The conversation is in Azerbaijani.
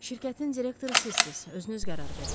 Şirkətin direktoru sizsiz, özünüz qərar verin.